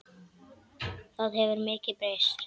Það hefur mikið breyst.